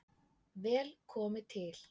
Vel komi til